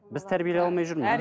біз тәрбиелей алмай жүрміз